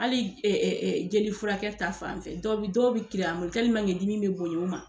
Ali ɛ ɛ ɛ jeli furakɛ ta fan fɛ dɔw bi dɔw bi kiri an bolo tɛliman kɛ dimi be bonya o ma